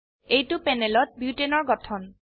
এইটো প্যানেলত বুটানে বিউটেন এৰ গঠন